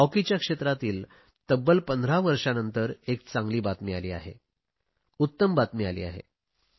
हॉकीच्या क्षेत्रातही तब्बल 15 वर्षांनंतर एक चांगली बातमी आली आहे उत्तम बातमी आली आहे